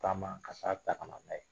Taama ka sa ta ka na n'a ye.